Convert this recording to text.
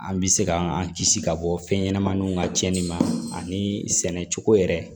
An bɛ se k'an kisi ka bɔ fɛnɲɛnɛmaninw ka tiɲɛni ma ani sɛnɛcogo yɛrɛ